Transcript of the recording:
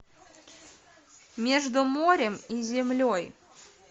между морем и землей